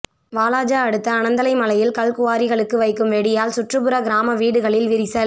வாலாஜா அடுத்த அனந்தலை மலையில் கல்குவாரிகளுக்கு வைக்கும் வெடியால் சுற்றுப்புற கிராம வீடுகளில் விரிசல்